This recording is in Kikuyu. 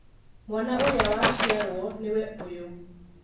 Mwana ũrĩa waciarwo nĩwe ũyũ.